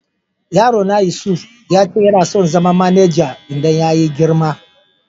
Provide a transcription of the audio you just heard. Yaro na Yusuf ya ce yana son zama manajar idan ya yi girma.